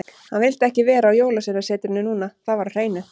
Hann vildi ekki vera á Jólasveinasetrinu núna, það var á hreinu.